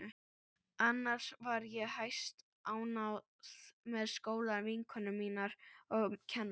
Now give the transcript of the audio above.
Annars var ég hæstánægð með skólann, vinkonur mínar og kennarana.